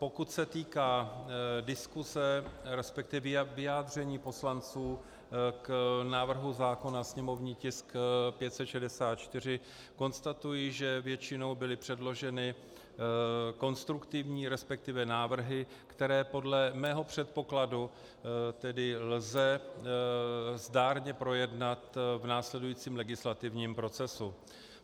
Pokud se týká diskuse, respektive vyjádření poslanců k návrhu zákona, sněmovní tisk 564, konstatuji, že většinou byly předloženy konstruktivní, respektive návrhy, které podle mého předpokladu tedy lze zdárně projednat v následujícím legislativním procesu.